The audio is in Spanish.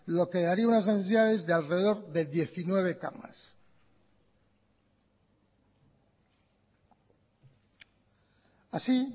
lo que daría unas necesidades de alrededor de diecinueve camas así